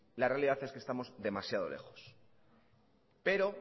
la realidad es que estamos demasiado lejos pero